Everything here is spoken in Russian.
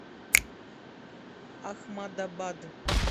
ахмадабад